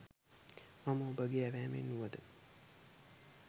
මම ඔබගේ ඇවෑමෙන් වුවද